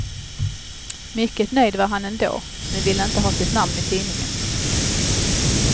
Mycket nöjd var han ändå, men ville inte ha sitt namn i tidningen.